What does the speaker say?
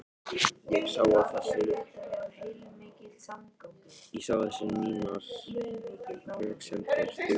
Ég sá að þessar mínar röksemdir dugðu ekki.